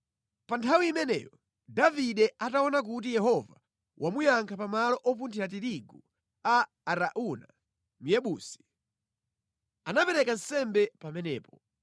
Pa nthawi imeneyo, Davide ataona kuti Yehova wamuyankha pa malo opunthira tirigu a Arauna Myebusi, anapereka nsembe pamenepo.